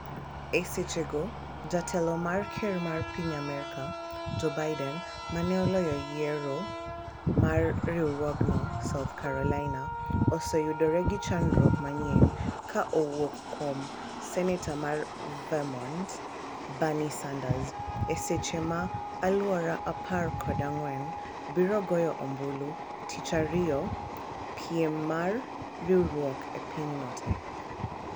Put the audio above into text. e seche go jatelo mar ker mar Piny Amerka Joe Biden, ma ne oloyo yiero mar riwruogno South Carolina, oseyudore gi chandruok manyien ka owuok kuom senetor mar Vermont Bernie Sanders e seche ma alwora apar koda ng'wen biro goyo ombulu tich ariyo piem mar riwruok e pinyno te